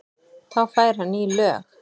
Þá fær hann ný lög.